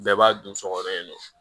Bɛɛ b'a dun sogo in na